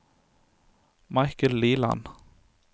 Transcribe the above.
Michael Liland